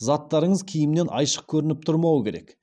заттарыңыз киімнен айшық көрініп тұрмауы керек